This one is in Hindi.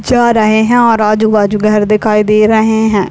जा रहे है और आजू-बाजू घर दिखाई दे रहे है।